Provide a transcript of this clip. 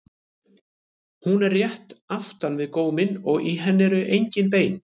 Hún er rétt aftan við góminn og í henni eru engin bein.